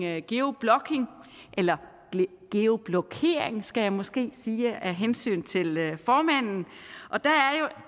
er geo blocking eller geo blokering skal jeg måske sige af hensyn til formanden og der